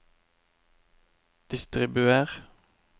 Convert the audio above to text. distribuer